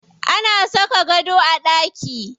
Ana saka gado a ɗaki.